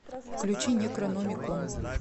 включи некрономикон